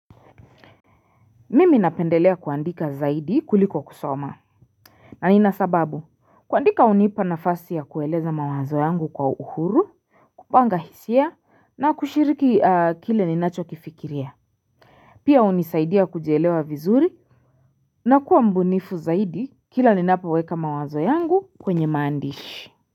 Mimi napendelea kuandika zaidi kuliko kusoma na nina sababu kuandika unipa na fasi ya kueleza mawazo yangu kwa uhuru kupanga hisia na kushiriki kile ninacho kifikiria Pia unisaidia kujielewa vizuri na kuwa mbunifu zaidi kila ninapoweka mawazo yangu kwenye maandishi.